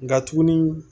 Nka tuguni